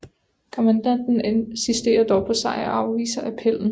Kommandanten insisterer dog på sejr og afviser appellen